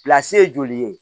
ye joli ye